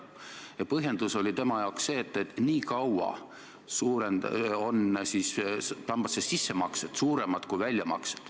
Ja põhjendus oli tema jaoks see, et nii kaua on sambasse sissemaksed suuremad kui sealt väljamaksed.